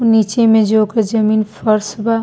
नीचे में जो के जमीन फ़र्श बा।